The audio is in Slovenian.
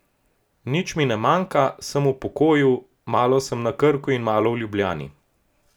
Nič mi ne manjka, sem v pokoju, malo sem na Krku in malo v Ljubljani.